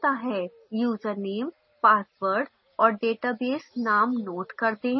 username password और database names note कर दें